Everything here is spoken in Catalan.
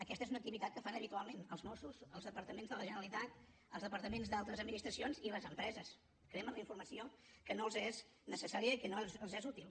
aquesta és una activitat que fan habitualment els mossos els departaments de la generalitat els departaments d’altres administracions i les empreses cremen la informació que no els és necessària i que no els és útil